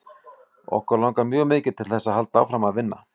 Okkur langar mjög mikið til þess að halda áfram að vinna.